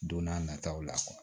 Don n'a nataw la